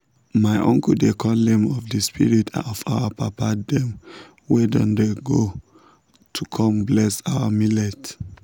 my uncle dey call names of the spirit of our papa dem wey don go to come bless our millet.